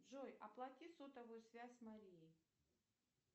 джой оплати сотовую связь марии